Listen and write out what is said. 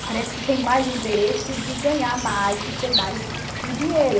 Parece que tem mais o interesse de ganhar mais, de ser mais de dinheiro.